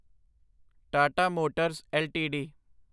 Tata Motors LTD